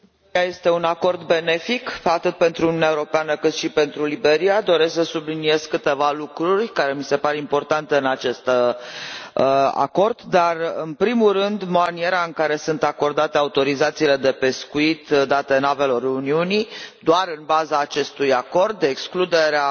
Domnule președinte, Acordul cu Liberia este un acord benefic, atât pentru Uniunea Europeană, cât și pentru Liberia. Doresc să subliniez câteva lucruri care mi se par importante în acest acord. În primul rând, maniera în care sunt acordate autorizațiile de pescuit date navelor Uniunii, doar în baza acestui acord, de excludere